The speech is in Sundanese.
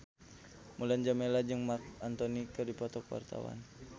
Mulan Jameela jeung Marc Anthony keur dipoto ku wartawan